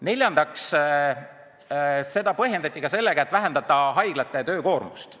Neljandaks, seaduseelnõu põhjendati ka sooviga vähendada haiglate töökoormust.